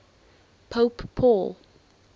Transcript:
pope paul